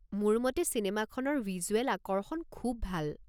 মোৰ মতে চিনেমাখনৰ ভিজুৱেল আকৰ্ষণ খুব ভাল।